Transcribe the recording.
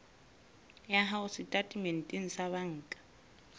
ya hao setatementeng sa banka